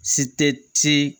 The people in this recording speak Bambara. Si tɛ